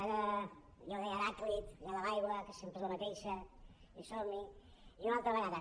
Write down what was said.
ja ho deia heràclit allò de l’aigua que sempre és la mateixa i som hi i una altra vegada